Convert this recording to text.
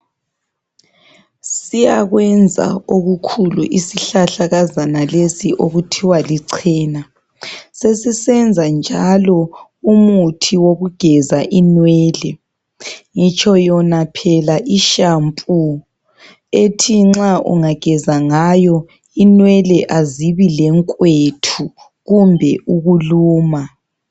Siyakwenza okukhulu isihlahlakazana lesi ukuthiwa lincena sesisenza njalo umuthi wokugeza inwele ngitsho yona phela ishampu ethi nxa ungageza ngayo inwele azibi lekwethu kumbe ukuluma.